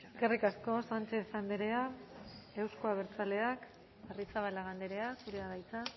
eskerrik asko sánchez andrea euzko abertaleak arrizabalaga andrea zurea da hitza